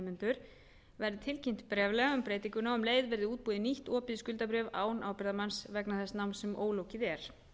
nemendur verði tilkynnt bréflega um breytinguna og um leið verði útbúið nýtt opið skuldabréf án ábyrgðarmanns vegna þess náms sem ólokið er